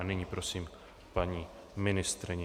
A nyní prosím paní ministryni.